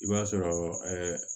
I b'a sɔrɔ ɛɛ